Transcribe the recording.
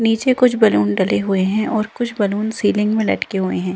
नीचे कुछ बलून डले हुए हैं और कुछ बैलून सीलिंग में लटके हुए हैं।